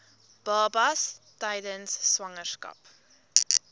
babas tydens swangerskap